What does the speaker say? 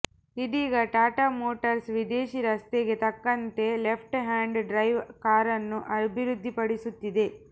ಇದೀಗ ಟಾಟಾ ಮೋಟರ್ಸ್ ವಿದೇಶಿ ರಸ್ತೆಗೆ ತಕ್ಕಂತೆ ಲೆಫ್ಟ್ ಹ್ಯಾಂಡ್ ಡ್ರೈವ್ ಕಾರನ್ನು ಅಭಿವೃದ್ಧಿಪಡಿಸುತ್ತಿದೆ